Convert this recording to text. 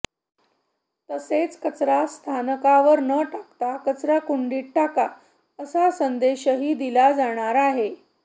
तसेच कचरा स्थानकावर न टाकता कचराकुंडीत टाका असा संदेशही दिला जाणार आहे